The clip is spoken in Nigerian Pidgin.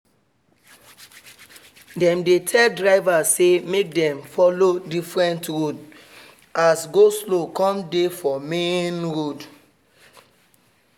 dem dey tell drivers say make them follow different roads as go-slow come dey for main road